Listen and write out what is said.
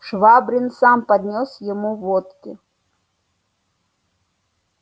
швабрин сам поднёс ему водки